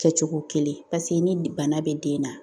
Kɛcogo kelen ni bana bɛ den na